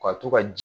Ka to ka